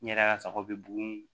N yɛrɛ ka sago bɛ bugun